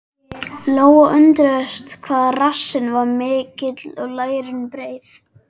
Lóa undraðist hvað rassinn var mikill og lærin breið.